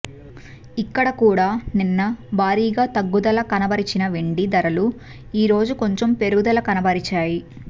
ఇక్కడ కూడా నిన్న భారీగా తగ్గుదల కనబరిచిన వెండి ధరలు ఈరోజు కొంచెం పెరుగుదల కనబరిచాయి